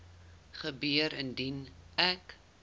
gebeur indien ek